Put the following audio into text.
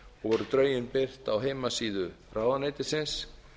og voru dregin beint á heimasíðu ráðuneytisins